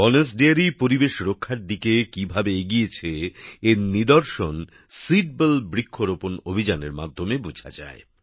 bonus dairy পরিবেশ রক্ষার দিকে কিভাবে এগিয়েছে এর নিদর্শন সীডবল বৃক্ষরোপণ অভিযানের মাধ্যমে বোঝা যায়